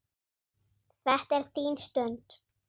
Þetta er þín stund.